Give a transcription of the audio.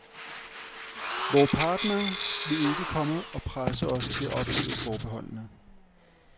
Vore partnere vil ikke komme og presse os til at ophæve forbeholdene.